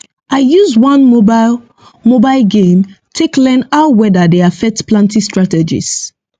i use one mobile mobile game take learn how weather dey affect planting strategies